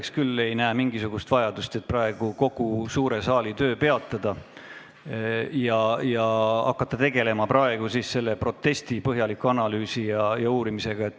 Mina küll ei näe mingisugust vajadust, et kogu suure saali töö praegu peatada ja hakata tegelema selle protesti põhjaliku analüüsimisega.